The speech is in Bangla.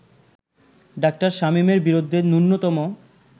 ডা. শামীমের বিরুদ্ধে ন্যূনতম